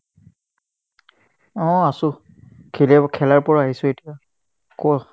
অ, আছো খেলিব খেলাৰ পৰা আহিছো এতিয়া কোৱা ?